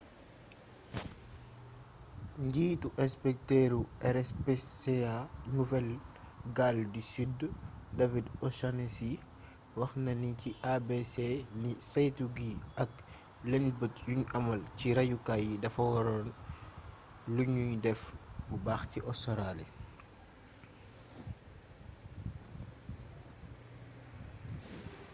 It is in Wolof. njiitu inspektëru rspca nouvelle-galles du sud david o'shannessy wax na ni ci abc ni saytu yi ak lëñbët yuñy amal ci rayukaay yi dafa waroon luñuy def bu baax ci ostaraali